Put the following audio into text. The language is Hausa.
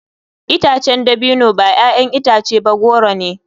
Itacen dabino ba 'ya'yan itace ba goro ne.